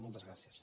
moltes gràcies